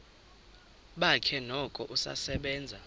bakhe noko usasebenza